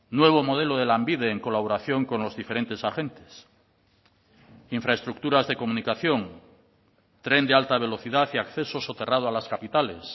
nuevo modelo de lanbide en colaboración con los diferentes agentes infraestructuras de comunicación tren de alta velocidad y acceso soterrado a las capitales